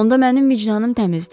Onda mənim vicdanım təmizdir.